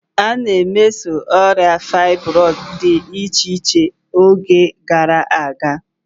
A na-emeso ọrịa fybroidu dị iche-iche n'oge gara aga.